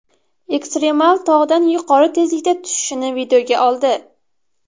Ekstremal tog‘dan yuqori tezlikda tushishini videoga oldi.